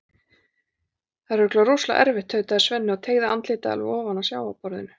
Það er örugglega rosalega erfitt, tautaði Svenni og teygði andlitið alveg ofan að sjávarborðinu.